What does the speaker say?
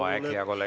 Aeg, hea kolleeg!